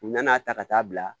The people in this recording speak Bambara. U nana'a ta ka taa bila